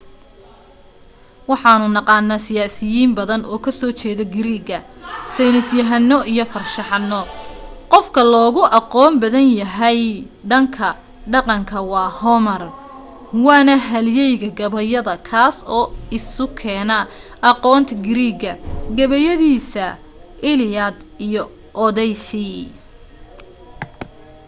waxanu naqaana siyaasiyiin badan oo ka soo jeeda greek sayni yahaano iyo farshaxano qof ka loogu aqoon badan yahay dhan ka dhaqanka waa homer waana halyeeyga gabayada kaas oo isu keena aqoonta greek ga gabayadiisa iliad iyo odyssey